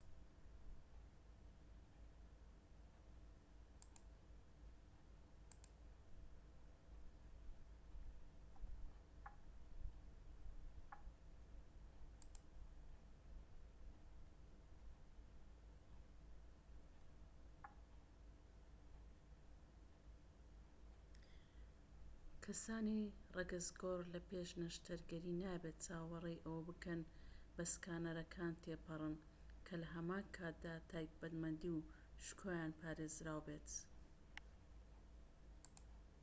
کەسانی ڕەگەزگۆڕ لە پێش نەشتەرگەری نابێت چاوەڕێی ئەوە بکەن بە سکانەرەکان تێپەڕن کە لە هەمان کاتدا تایبەتمەندی و شکۆیان پارێزراو بێت